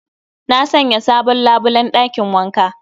Na Sanya sabon labulen ɗakin wanka